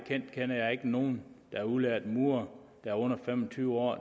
jeg kender ikke nogen der er udlært murer og under fem og tyve år